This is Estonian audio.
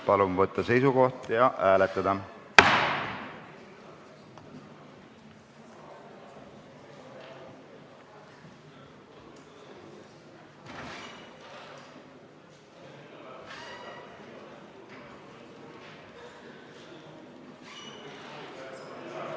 Palun võtta seisukoht ja hääletada!